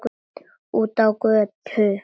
Út á götu.